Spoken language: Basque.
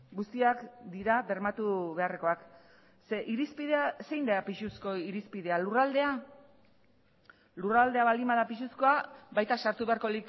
guztiak dira bermatu beharrekoak ze irizpidea zein da pisuzko irizpidea lurraldea lurraldea baldin bada pisuzkoa baita sartu beharko